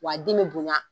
Wa den be bonya